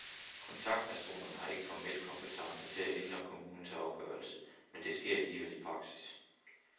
Kontaktpersonerne har ikke formel kompetence til at ændre kommunens afgørelse, men det sker alligevel i praksis.